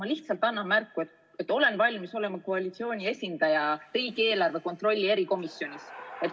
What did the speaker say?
Ma lihtsalt annan märku, et olen valmis olema koalitsiooni esindaja riigieelarve kontrolli erikomisjonis.